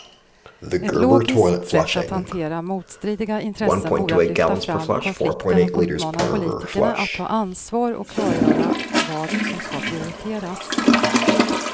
Ett logiskt sätt att hantera motstridiga intressen vore att lyfta fram konflikten och uppmana politikerna att ta ansvar och klargöra vad som ska prioriteras.